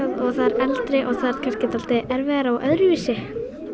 eldri og það er kannski dálítið erfiðara og öðruvísi